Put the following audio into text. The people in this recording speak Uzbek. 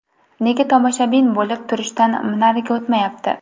Nega tomoshabin bo‘lib turishdan nariga o‘tmayapti?